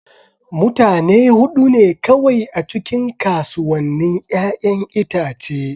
Mutane hudu ne kawai a cikin kasuwannin 'ya'yan itace.